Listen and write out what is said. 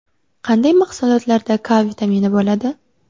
Qanday mahsulotlarda K vitamini bo‘ladi?